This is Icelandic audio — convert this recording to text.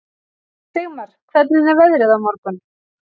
Sigmar, hvernig er veðrið á morgun?